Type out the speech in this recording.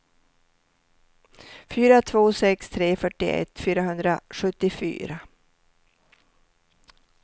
fyra två sex tre fyrtioett fyrahundrasjuttiofyra